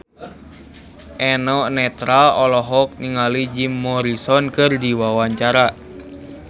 Eno Netral olohok ningali Jim Morrison keur diwawancara